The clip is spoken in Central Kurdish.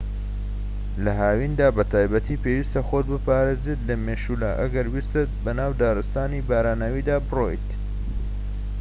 لە هاویندا بە تایبەتی پێویستە خۆت بپارێزیت لە مێشولە ئەگەر ویستت بەناو دارستانی باراناویدا بڕۆیت